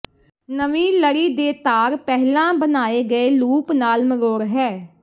ਨਵੀਂ ਲੜੀ ਦੇ ਤਾਰ ਪਹਿਲਾਂ ਬਣਾਏ ਗਏ ਲੂਪ ਨਾਲ ਮਰੋੜ ਹੈ